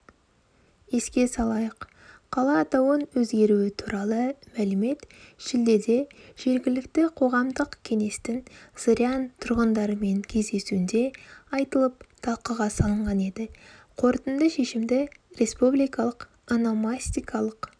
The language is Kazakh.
еске салайық қала атауын өзгеруі туралы мәлімет шілдеде жергілікті қоғамдық кеңестің зырян тұрғындарыменкездесуінде айтылып талқыға салынған еді қорытынды шешімді республикалық ономастикалық